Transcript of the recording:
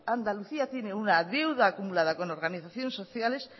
andalucía tiene una deuda acumulada con organizaciones sociales